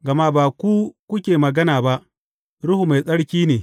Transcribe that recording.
Gama ba ku kuke magana ba, Ruhu Mai Tsarki ne.